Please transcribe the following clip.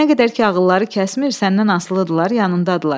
Nə qədər ki ağılları kəsmir, səndən asılıdırlar, yanındadırlar.